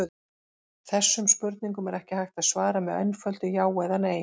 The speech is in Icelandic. Þessum spurningum er ekki hægt að svara með einföldu já eða nei.